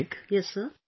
Well, I would like